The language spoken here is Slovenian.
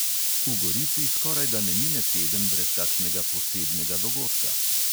V gorici skorajda ne mine teden brez kakšnega posebnega dogodka.